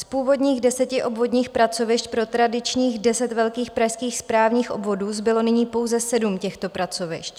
Z původních deseti obvodních pracovišť pro tradičních deset velkých pražských správních obvodů zbylo nyní pouze sedm těchto pracovišť.